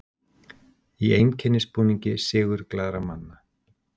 Í einkennisbúningi sigurglaðra manna.